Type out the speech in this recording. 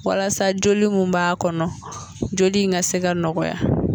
Walasa joli mun m'a kɔnɔ joli in ka se ka nɔgɔya.